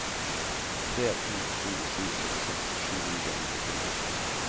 tre to to sju syttiseks sju hundre og nittito